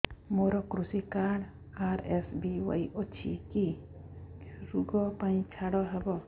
ମୋର କୃଷି card RSBY ଅଛି କି କି ଋଗ ପାଇଁ ଛାଡ଼ ହବ